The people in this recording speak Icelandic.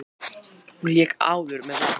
Hún lék áður með Val.